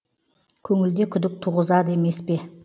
көңілде күдік туғызады емес пе